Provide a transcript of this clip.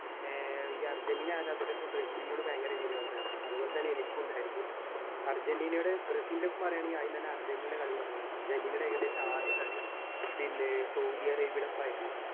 ഏർ ഈ അർജന്റീന ആരാധകർക്ക് ബ്രസിൽനോട് ഭയങ്കര വിരോധാണ് അതുപോൽതന്നെ എനിക്ക് ഇണ്ടായിരുന്നു അര്‍ജന്റീനയും ബ്രസിൽനെ പറ്റി പറേണെങ്കി അദ്യം തന്നെ അർജന്റീനെടെ കാളി പറയണമ് അർജന്റീനെടെ ഏകദേശം ആദ്യ കളി പിന്നെ സൗദി അറേബിയേടെ ഒപ്പായിരുന്നു